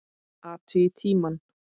Athugið tímann.